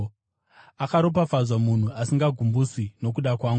Akaropafadzwa munhu asingagumbuswi nokuda kwangu.”